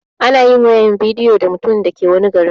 Anayin wayar bidiyo da mutumin da ke wani garin